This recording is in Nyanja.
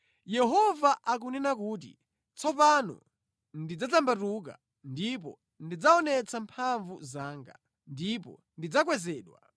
Yehova akunena kuti, “Tsopano ndidzadzambatuka ndipo ndidzaonetsa mphamvu zanga, ndipo ndidzakwezedwa.